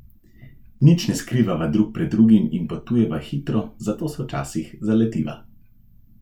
Nič ne skrivava drug pred drugim in potujeva hitro, zato se včasih zaletiva.